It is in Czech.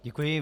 Děkuji.